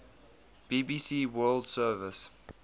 bbc world service